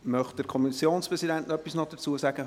Möchte der Kommissionspräsident noch etwas dazu sagen?